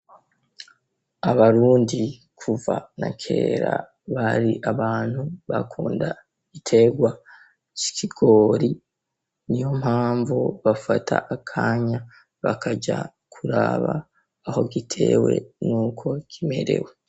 Abarundi kuva na kera bari abantu bakunda igiterwa c'ikigori , niyo mpamvu bafata akanya bakaja kuraba aho gitewe n'uko kimerewe.